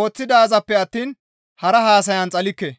ooththidaazappe attiin hara haasayana xalikke.